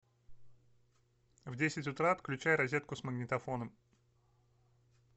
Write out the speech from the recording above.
в десять утра отключай розетку с магнитофоном